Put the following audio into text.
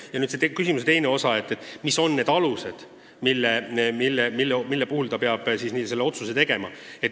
Ja nüüd see küsimuse teine osa, et mis alusel ta peab oma otsuse langetama.